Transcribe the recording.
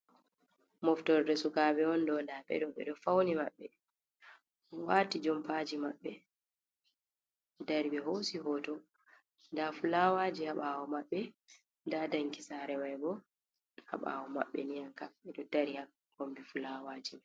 Moftorde suka ɓe on ɗo, nda ɓe ɗo ɓeɗo fauni maɓɓe, waati jompaji maɓɓe, dari ɓe hoosi hoto nda fulawaji haa ɓawo maɓɓe, nda danki saare mai bo haa ɓawo maɓɓe, ni an kam ɓeɗo dari haa kombi fulawaji.